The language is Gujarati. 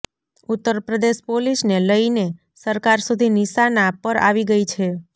ઉત્તરપ્રદેશ પોલીસને લઈને સરકાર સુધી નિશાના પર આવી ગઈ છે